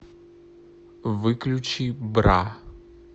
выключи бра